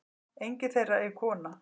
Enginn þeirra er kona.